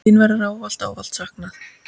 Þín verður ávallt, ávallt saknað.